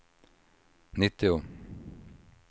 nittio